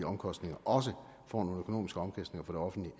omkostninger også får nogle økonomiske omkostninger for det offentlige